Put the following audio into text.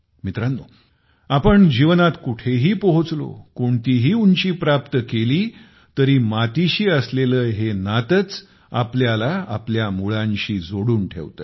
मित्रांनो आपण जीवनात कुठेही पोहोचलो कोणतीही उंची प्राप्त केली तरी मातीशी असलेले हे नातेच आपल्याला आपल्या मुळाशी जोडून ठेवते